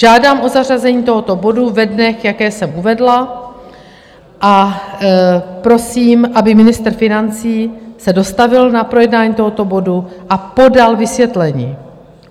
Žádám o zařazení tohoto bodu ve dnech, jaké jsem uvedla, a prosím, aby ministr financí se dostavil na projednání tohoto bodu a podal vysvětlení.